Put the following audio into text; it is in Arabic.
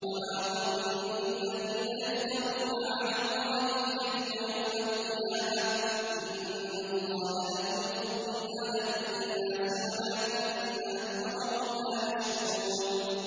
وَمَا ظَنُّ الَّذِينَ يَفْتَرُونَ عَلَى اللَّهِ الْكَذِبَ يَوْمَ الْقِيَامَةِ ۗ إِنَّ اللَّهَ لَذُو فَضْلٍ عَلَى النَّاسِ وَلَٰكِنَّ أَكْثَرَهُمْ لَا يَشْكُرُونَ